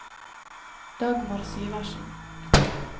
Dagmar Syversen